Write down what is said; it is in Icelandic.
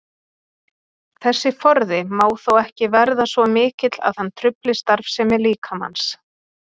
Þessi forði má þó ekki verða svo mikill að hann trufli starfsemi líkamans.